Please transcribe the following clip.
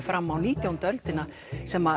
fram á nítjándu öldina sem